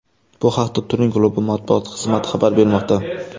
Bu haqda Turin klubi matbuot xizmati xabar bermoqda .